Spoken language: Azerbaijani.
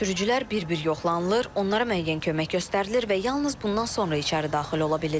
Sürücülər bir-bir yoxlanılır, onlara müəyyən kömək göstərilir və yalnız bundan sonra içəri daxil ola bilirlər.